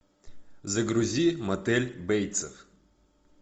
загрузи мотель бейтсов